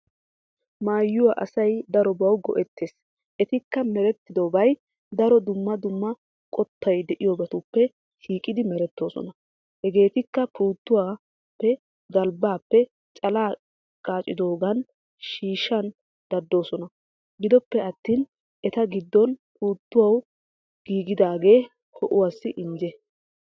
Maayuwaa asay daarobbawu go"ettees. Ettikka merettidobay daaro dumma dumma qottay de'iyoobatuppe shiiqqiddi merettosoona hegetikka puttuwaappe, galbbappe, calaa qachchiyogan shiishana danddayosona giddoppe attin etta giddon puttuwappe giggidage ho"uwassi injje.